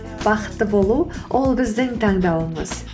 бақытты болу ол біздің таңдауымыз